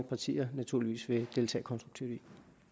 partier naturligvis vil deltage konstruktivt i